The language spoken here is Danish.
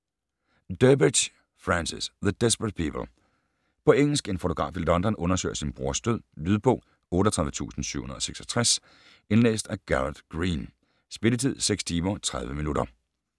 Durbridge, Francis: The desperate people På engelsk. En fotograf i London undersøger sin brors død. Lydbog 38766 Indlæst af Garard Green. Spilletid: 6 timer, 30 minutter.